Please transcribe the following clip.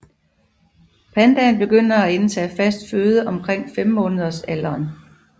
Pandaen begynder at indtage fast føde omkring femmåneders alderen